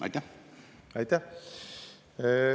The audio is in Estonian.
Aitäh!